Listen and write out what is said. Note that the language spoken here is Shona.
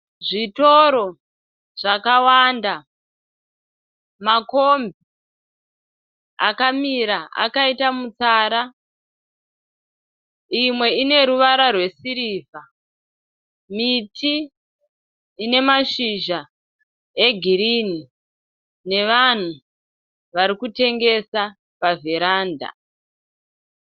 Zvitoro zvakawanda, makombi akamira akaita mutsara . Imwe ine ruvara rwesirivha. Miti ine mashizha egirinhi nevanhu varikutengesa pavheranda.